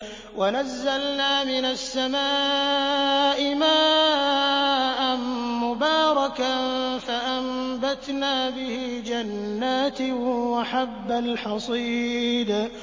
وَنَزَّلْنَا مِنَ السَّمَاءِ مَاءً مُّبَارَكًا فَأَنبَتْنَا بِهِ جَنَّاتٍ وَحَبَّ الْحَصِيدِ